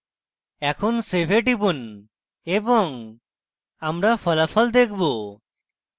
এখন save we টিপুন এবং আমরা ফলাফল দেখবো